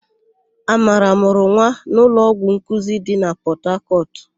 Amara mụrụ nwa n'ụlọọgwụ nkuzi dị na Pọtakọtụ.